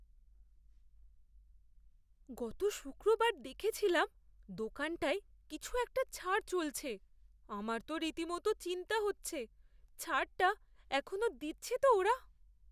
গত শুক্রবার দেখেছিলাম দোকানটায় কিছু একটা ছাড় চলছে। আমার তো রীতিমত চিন্তা হচ্ছে ছাড়টা এখনও দিচ্ছে তো ওরা!